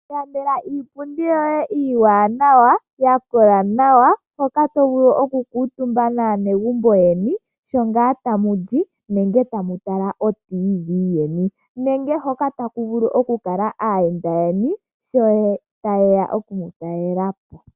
Iilandela iipundi yoye iiwanawa, ya kola nawa, hoka tovulu oku kuutumba naanegumbu yoye sho ngaa tamu li nenge tamu tala oradio yomuzizimbe yeni, nenge hoka taku vulu oku kala aayenda yeni sho taye ya okumu talelapo.